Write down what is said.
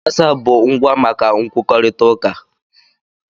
wasapu bụ ngwa maka nkwukọrịta uka